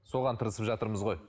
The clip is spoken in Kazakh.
соған тырысып жатырмыз ғой